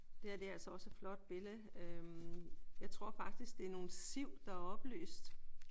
Det her det er altså også et flot billede. Øh jeg tror faktisk det er nogle siv der er oplyst